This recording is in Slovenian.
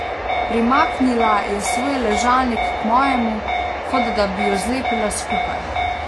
Primaknila je svoj ležalnik k mojemu, kot da bi ju zlepila skupaj.